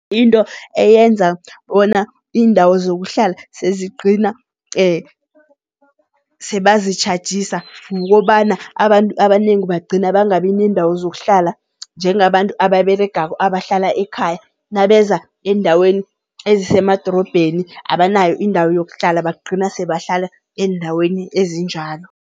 Into eyenza bona iindawo zokuhlala sezigcina sebazitjhajisa, kukobana abantu abanengi bagcina bangabi neendawo zokuhlala njengabantu ababeregako abahlala ekhaya. Nabeza eendaweni ezisemadorobheni abanayo indawo yokuhlala bagcina sebahlala eendaweni ezinjalo.